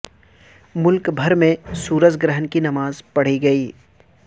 ملک بھر میں سورج گرہن کی نماز پڑھی گئی